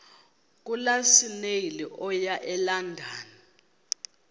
lukasnail okuya elondon